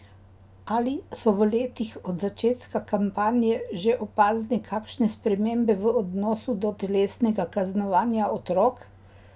Ali so v letih od začetka kampanje že opazne kakšne spremembe v odnosu do telesnega kaznovanja otrok?